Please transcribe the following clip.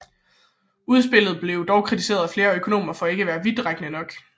Udspillet blev dog kritiseret af flere økonomer for ikke at være vidtrækkende nok